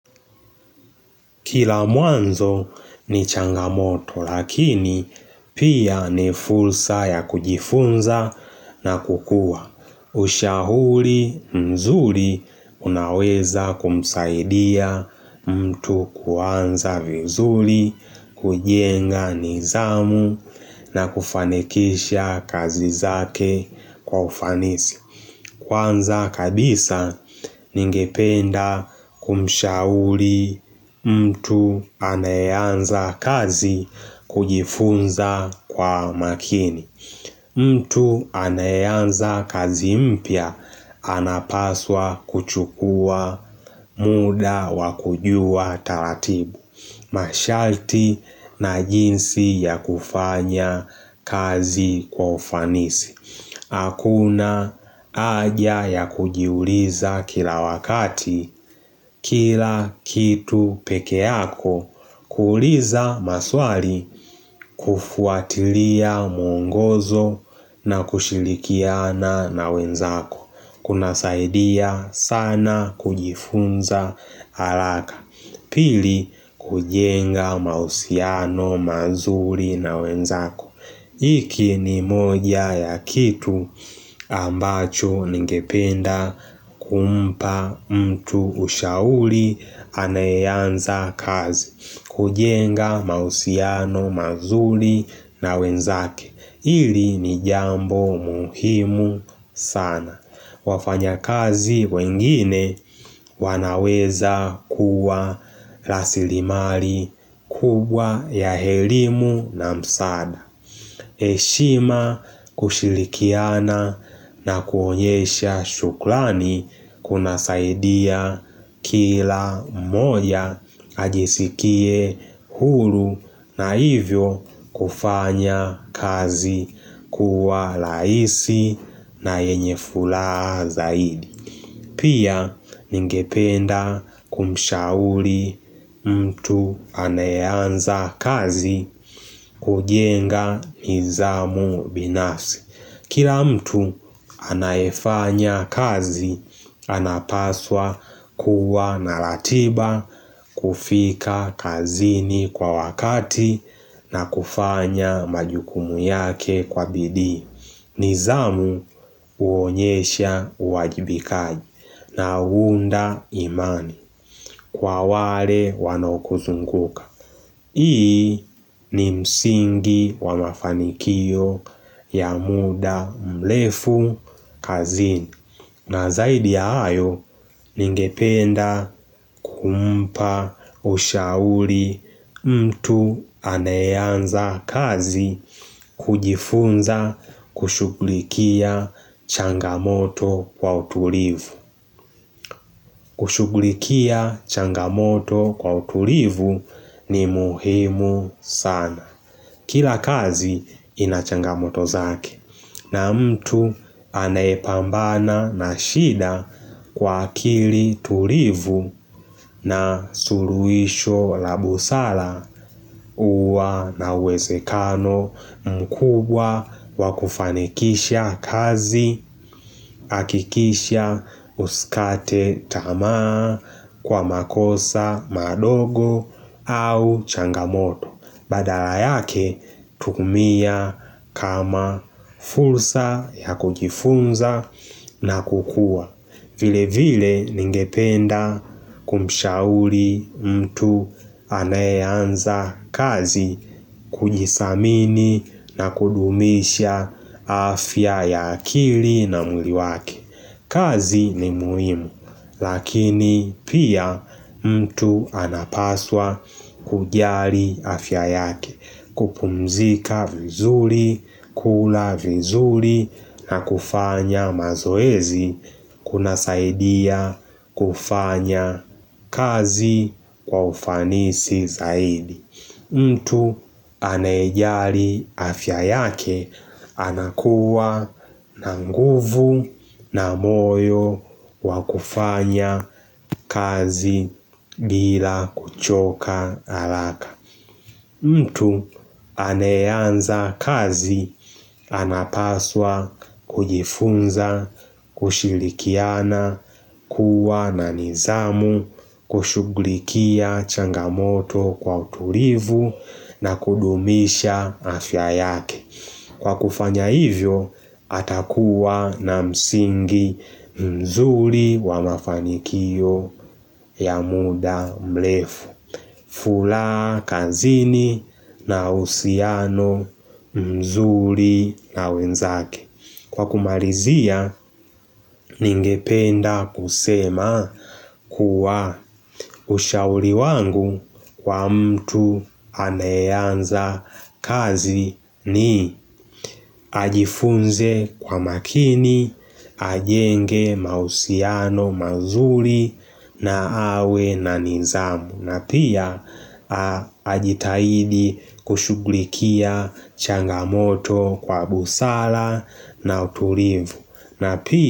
Kila mwanzo ni changamoto lakini pia ni fursa ya kujifunza na kukua. Ushahuli mzuli unaweza kumsaidia mtu kuanza vizuli, kujenga nizamu na kufanekisha kazi zake kwa ufanisi. Kwanza kabisa ningependa kumshauli mtu anayeanza kazi kujifunza kwa makini. Mtu anayeanza kazi mpya anapaswa kuchukua muda wa kujua taratibu. Mashalti na jinsi ya kufanya kazi kufanisi. Hakuna aja ya kujiuliza kila wakati kila kitu peke yako kuuliza maswali kufuatilia mwongozo na kushilikiana na wenzako kunasaidia sana kujifunza alaka Pili kujenga mausiano mazuri na wenzako Iki ni moja ya kitu ambacho ningependa kumpa mtu ushauli anayeanza kazi kujenga mausiano mazuli na wenzake ili ni jambo muhimu sana wafanyakazi wengine wanaweza kuwa lasilimali kubwa ya herimu na msaada heshima kushilikiana na kuonyesha shuklani kunasaidia kila mmoja ajisikie hulu na hivyo kufanya kazi kuwa laisi na yenye fulaa zaidi. Pia ningependa kumshauli mtu anayeanza kazi kujenga nizamu binafsi Kila mtu anayefanya kazi, anapaswa kuwa na latiba kufika kazini kwa wakati na kufanya majukumu yake kwa bidii. Nizamu uonyesha uwajibikaji na uunda imani kwa wale wanaokuzunguka. Hii ni msingi wa mafanikio ya muda mlefu kazini na zaidi ya ayo ningependa kumpa ushauli mtu anayeanza kazi kujifunza kushughulikia changamoto kwa utulivu kushughulikia changamoto kwa utulivu ni muhimu sana Kila kazi ina changamoto zake na mtu anayepambana na shida kwa akili tulivu na suruisho la busala uwa na uwesekano mkubwa wa kufanikisha kazi akikisha uskate tamaa kwa makosa madogo au changamoto. Badala yake tumia kama fursa ya kujifunza na kukua vile vile ningependa kumshauli mtu anayeanza kazi kujisamini na kudumisha afya ya akili na mwili wake kazi ni muhimu lakini pia mtu anapaswa kujari afya yake kupumzika vizuri, kula vizuri na kufanya mazoezi kunasaidia kufanya kazi kwa ufanisi zaidi. Mtu anayejali afya yake anakuwa na nguvu na moyo wa kufanya kazi bila kuchoka alaka. Mtu anayeanza kazi, anapaswa, kujifunza, kushilikiana, kuwa na nizamu, kushughlikia changamoto kwa utulivu na kudumisha afya yake. Kwa kufanya hivyo, atakuwa na msingi mzuri wa mafanikio ya muda mlefu. Fulaa kanzini na usiano mzuri na wenzake Kwa kumarizia ningependa kusema kuwa ushauri wangu kwa mtu anayeanza kazi ni ajifunze kwa makini ajenge mausiano mazuri na awe na nizamu na pia ajitahidi kushughulikia changamoto kwa busala na utulivu na.